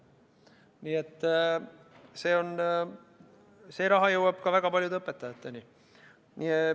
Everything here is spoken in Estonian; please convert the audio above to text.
Nii et see raha jõuab ka väga paljude õpetajateni.